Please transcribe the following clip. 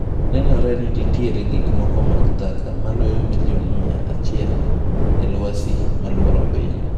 Nenore ni nitiere gik moko mag taka maloyo milion mia achiel e lwasi moluoro piny.